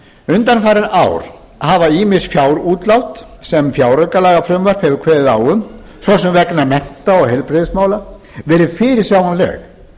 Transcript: undanfarin ár hafa ýmis fjárútlát sem fjáraukalagafrumvarp hefur kveðið á um svo sem vegna mennta og heilbrigðismála verið fyrirsjáanleg